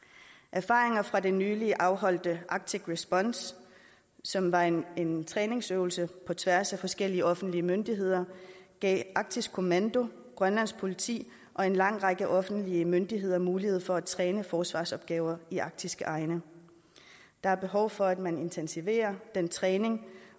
erfaringer fra det nylig afholdte arctic response som var en en træningsøvelse på tværs af forskellige offentlige myndigheder gav arktisk kommando grønlands politi og en lang række offentlige myndigheder muligheder for at træne forsvarsopgaver i arktiske egne der er behov for at man intensiverer den træning